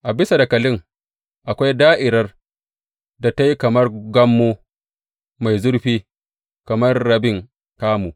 A bisa dakalin akwai da’irar da ta yi kamar gammo mai zurfi kamar rabin kamu.